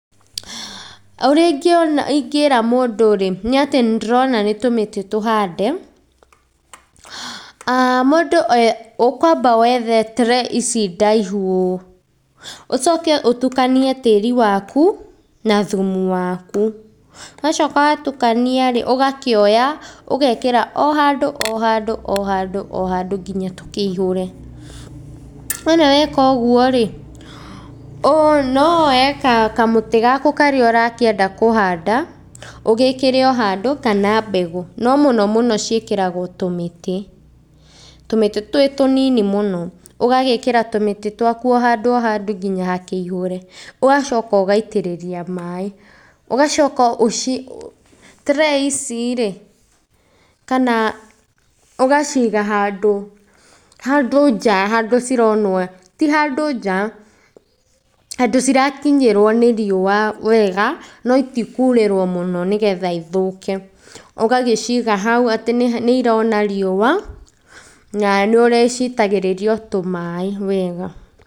Ũrĩa ingĩra mũndũ-rĩ, nĩatĩ nĩndĩrona nĩ tũmĩtĩ tũhande. Mũndũ e ũkwamba wethe tray ici ndaihu ũũ, ũcoke ũtukanie tĩri waku na thumu waku, wacoka watukania-rĩ, ũgakĩoya ũgekĩra o handũ o handũ o handũ o handũ kinya tũkĩihũre. Wona weka ũguo-rĩ, no woe kamũtĩ gaku karĩa ũrakĩenda kũhanda, ũgĩkĩre o handũ kana mbegũ, no mũno mũno ciĩkĩragwo tũmĩtĩ, tũmĩtĩ twĩ tũnini mũno ũgagĩkĩra tũmĩtĩ twaku o handũ o handũ kinya hakĩihũre, ũgacoka ũgaitĩrĩria maĩ, ũgacoka ũci tray ici-rĩ kana ũgaciga handũ, handũ nja handũ cironwo, ti handũ nja, handũ cirakinyĩrwo nĩ riũa wega no itikurĩrwo mũno nĩgetha ithũke, ũgagĩciga hau atĩ nĩirona riũa na nĩũrĩcitagĩrĩria o tũmaĩ wega.